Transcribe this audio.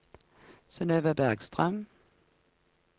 Synøve Bergstrøm